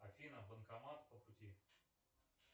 афина банкомат по пути